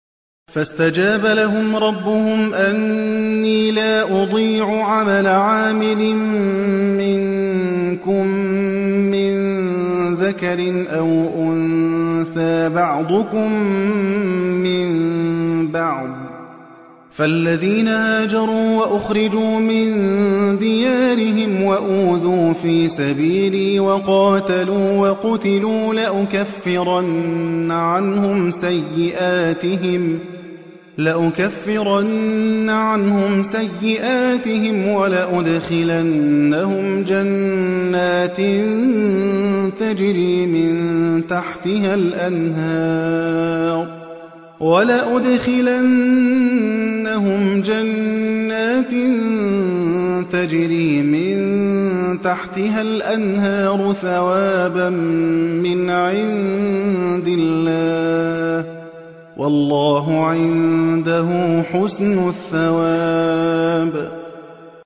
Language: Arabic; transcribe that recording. فَاسْتَجَابَ لَهُمْ رَبُّهُمْ أَنِّي لَا أُضِيعُ عَمَلَ عَامِلٍ مِّنكُم مِّن ذَكَرٍ أَوْ أُنثَىٰ ۖ بَعْضُكُم مِّن بَعْضٍ ۖ فَالَّذِينَ هَاجَرُوا وَأُخْرِجُوا مِن دِيَارِهِمْ وَأُوذُوا فِي سَبِيلِي وَقَاتَلُوا وَقُتِلُوا لَأُكَفِّرَنَّ عَنْهُمْ سَيِّئَاتِهِمْ وَلَأُدْخِلَنَّهُمْ جَنَّاتٍ تَجْرِي مِن تَحْتِهَا الْأَنْهَارُ ثَوَابًا مِّنْ عِندِ اللَّهِ ۗ وَاللَّهُ عِندَهُ حُسْنُ الثَّوَابِ